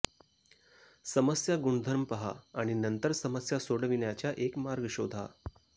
समस्या गुणधर्म पहा आणि नंतर समस्या सोडविण्याचा एक मार्ग शोधा